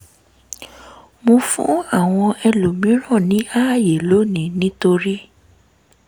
mo fún àwọn ẹlòmíràn ní àyè lónìí nítorí